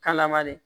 Kalama de